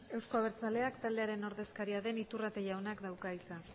euzko abertzaleak taldearen ordezkaria den iturrate jaunak dauka hitza